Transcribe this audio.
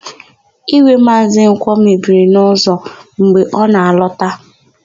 Ígwè Maazị Nkwọ mebiri n'ụzọ mgbe ọ na-alọta.